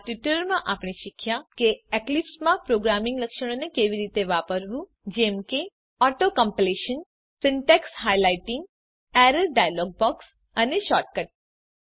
આ ટ્યુટોરીયલમાં આપણે શીખ્યા કે એક્લીપ્સમાં પ્રોગ્રામિંગ લક્ષણોને કેવી રીતે વાપરવું જેમ કે auto completion syntax highlighting error dialog box અને શૉર્ટકટ કી